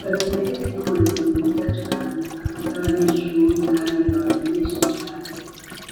Barumwete ni umurezi mwiza cane akunda abanyeshuri kandi abamenyesha cane.